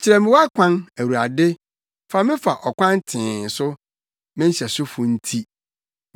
Kyerɛ me wʼakwan, Awurade; fa me fa ɔkwan tee so, me nhyɛsofo nti.